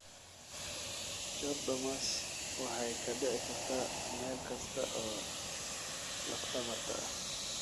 Chordomas waxay ka dhici kartaa meel kasta oo lafdhabarta ah.